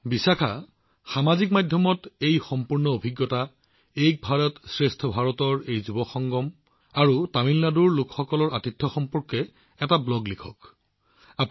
প্ৰধানমন্ত্ৰীঃ গতিকে বিশাখাজী এটা ব্লগ লিখক আৰু এই অভিজ্ঞতা ছচিয়েল মিডিয়াত শ্বেয়াৰ কৰক প্ৰথমতে এই যুৱ সংগমৰ তাৰ পিছত এক ভাৰতশ্ৰেষ্ঠ ভাৰত আৰু তাৰ পিছত আপুনি তামিলনাডুত অনুভৱ কৰা আনন্দ আৰু আপুনি লাভ কৰা আদৰণি তথা আতিথ্য